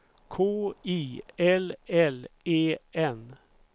K I L L E N